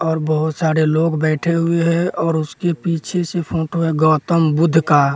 और बहुत सारे लोग बैठे हुए हैं और उसके पीछे से फोटो है गौतम बुद्ध का --